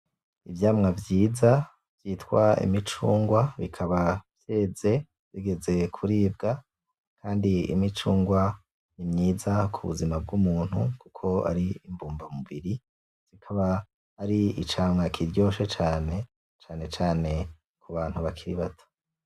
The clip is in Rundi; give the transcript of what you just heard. Ivyamwa vyiza bita imicungwe, ikaba yeze igeze kuribwa. Kandi imicungwe ni myiza ku buzima bw'umuntu kuko ari mbumba mubiri, kikaba ari icamwa kiryoshe cane, cane cane kubantu hakiri bato.